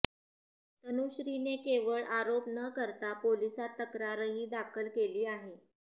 तनुश्रीने केवळ आरोप न करता पोलिसात तक्रारही दाखल केली आहे